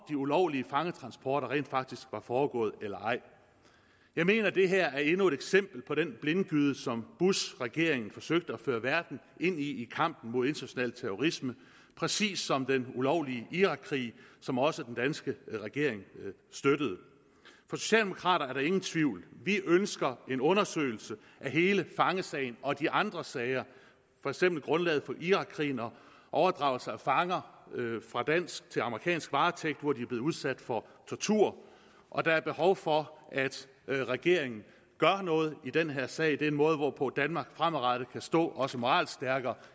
ulovlige fangetransporter rent faktisk var foregået eller ej jeg mener det her er endnu et eksempel på den blindgyde som bushregeringen forsøgte at føre verden ind i i kampen mod international terrorisme præcis som med den ulovlige irakkrig som også den danske regering støttede for socialdemokraterne er der ingen tvivl vi ønsker en undersøgelse af hele fangesagen og af de andre sager for eksempel grundlaget for irakkrigen og overdragelse af fanger fra dansk til amerikansk varetægt hvor de er blevet udsat for tortur og der er behov for at regeringen gør noget i den her sag det er en måde hvorpå danmark fremadrettet kan stå også moralsk stærkere